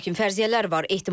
Lakin fərziyyələr var.